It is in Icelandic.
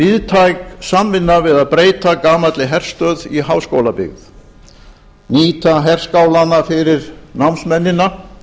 kom víðtæk samvinna við að breyta gamalli herstöð í háskólabyggð nýta herskála fyrir námsmennina